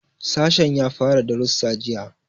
Sashen ya fara darussa jiya.